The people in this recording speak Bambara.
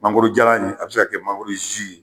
Mangoro jalan ye a be se ka kɛ mangoro zi